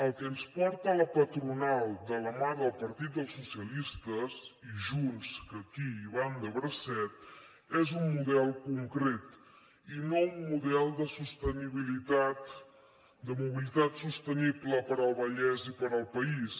el que ens porta la patronal de la mà del partit del socialistes i de junts que aquí hi van de bracet és un model concret i no un model de sostenibilitat de mobilitat sostenible per al vallès i per al país